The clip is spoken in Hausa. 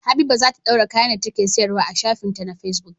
Habiba zata dora kayan da take siyar wa a shafin ta ma facebook